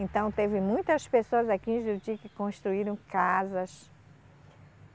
Então teve muitas pessoas aqui em Juruti que construíram casas.